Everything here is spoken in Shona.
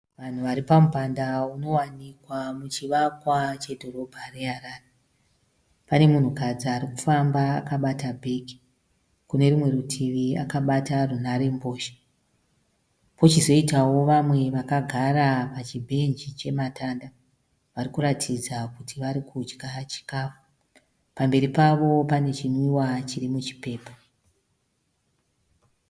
Vanhu varipamupanda unowanikwa muchivakwa chedhorobha reHarare. Pane munhukadzi arikufamba akabata bhegi. Kunerimwe rutivi akabata runhare mbozha . Pochizoitawo vamwe vakagara pachibhenji chematanda . Varikuratidza kuti varikudya chikafu. Pamberi pavo pane chinwiwa chiri muchipepa.